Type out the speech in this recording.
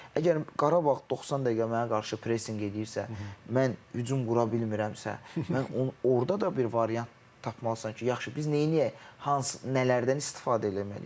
Əgər Qarabağ 90 dəqiqə mənə qarşı pressinq eləyirsə, mən hücum qura bilmirəmsə, mən orda da bir variant tapmalısan ki, yaxşı biz neyləyək, nələrdən istifadə eləməliyik.